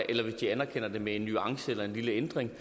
eller hvis de anerkender det med en nuance eller en lille ændring